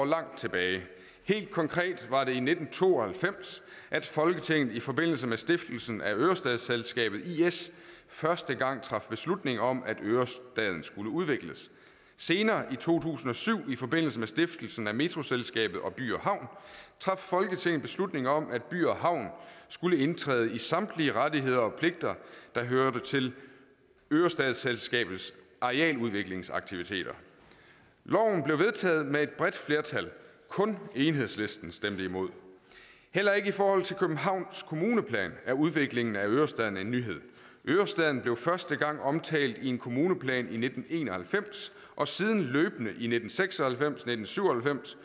langt tilbage helt konkret var det i nitten to og halvfems at folketinget i forbindelse med stiftelsen af ørestadsselskabet is første gang traf beslutning om at ørestaden skulle udvikles senere i to tusind og syv i forbindelse med stiftelsen metroselskabet og by havn traf folketinget beslutning om at by havn skulle indtræde i samtlige rettigheder og pligter der hørte til ørestadsselskabets arealudviklingsaktiviteter loven blev vedtaget med et bredt flertal kun enhedslisten stemte imod heller ikke i københavns kommuneplan er udviklingen af ørestaden en nyhed ørestaden blev første gang omtalt i en kommuneplan i nitten en og halvfems og siden løbende i nitten seks og halvfems nitten syv og halvfems